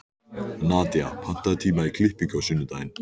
Hún horfir á hann og ypptir öxlum.